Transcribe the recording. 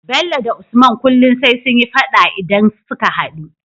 Bello da usman kullun sai sunyi faɗa idan suka hadu